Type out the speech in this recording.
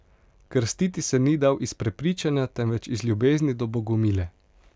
Krstiti se ni dal iz prepričanja, temveč iz ljubezni do Bogomile.